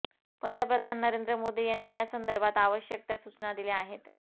पंतप्रधान नरेंद्र मोदी यांनी या संदर्भात आवश्यक त्या सूचना दिल्या आहेत